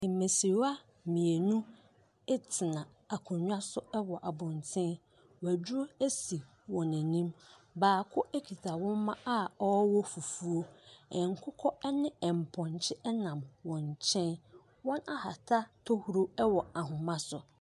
Mmɛseriwa mmienu etena akondwa so ɛwɔ abɔnten. Waduro esi n'anim. Baako ɛketa wɔma a ɔwɔ fufuo. Nkokɔ ɛne mpɔnkye ɛnam wɔn nkyeɛn. Wɔn ahata tɔhuro ɛwɔ ahoma so.